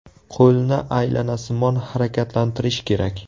Qo‘lni aylanasimon harakatlantirish kerak.